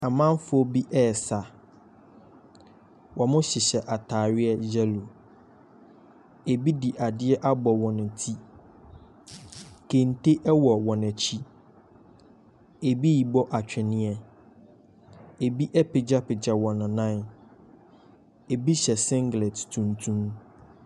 Amanfoɔ bi ɛsa. Ɔmo hyehyɛ ataareɛ yɛlo. Ebi de adeɛ abɔ wɔn ti. Kente ɛwɔ wɔn akyi. Ebi bɔ atweneɛ. Ebi apagya pagya wɔn nan. Ebi hyɛ singlɛt tumtum.